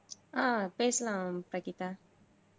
ஆஹ் பேசலாம் பிரகிதா